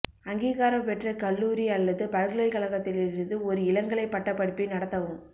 அங்கீகாரம் பெற்ற கல்லூரி அல்லது பல்கலைக் கழகத்திலிருந்து ஒரு இளங்கலை பட்டப்படிப்பை நடத்தவும்